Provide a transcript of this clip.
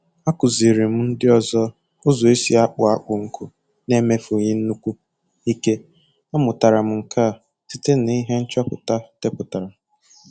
Akụziiri m ndị ọzọ ụzọ esi akpọ akpụ nkụ na-emefughi nnukwu ike. A mụtara m nke a site na ihe ndị nchọpụta deputara